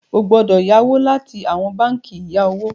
o gbọdọ yawọ láti awọn bánkì ìya owo ilé.